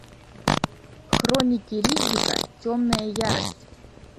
хроники риддика темная ярость